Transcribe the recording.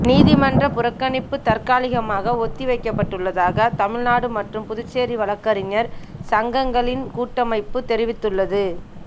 நீதிமன்ற புறக்கணிப்பு தற்காலிகமாக ஒத்திவைக்கப்பட்டுள்ளதாக தமிழ்நாடு மற்றும் புதுச்சேரி வழக்கறிஞர் சங்கங்களின் கூட்டமைப்பு தெரிவித்துள்ளது